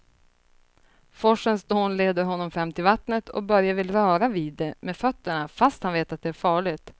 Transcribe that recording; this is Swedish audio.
Forsens dån leder honom fram till vattnet och Börje vill röra vid det med fötterna, fast han vet att det är farligt.